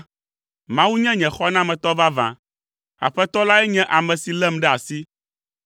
Mawu nye nye xɔnametɔ vavã, Aƒetɔ lae nye ame si lém ɖe asi.